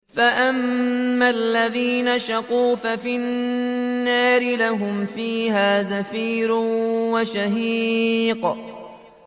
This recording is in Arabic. فَأَمَّا الَّذِينَ شَقُوا فَفِي النَّارِ لَهُمْ فِيهَا زَفِيرٌ وَشَهِيقٌ